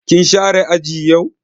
Kin share aji yau?